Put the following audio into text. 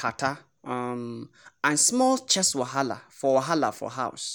catarrh um and small chest wahala for wahala for house.